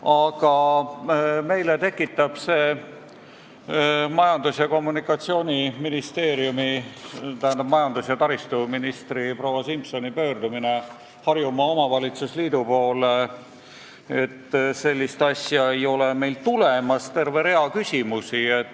Aga meis tekitab see majandus- ja taristuministri proua Simsoni pöördumine Harjumaa Omavalitsuste Liidu poole, et sellist asja ei ole ega tule, terve hulga küsimusi.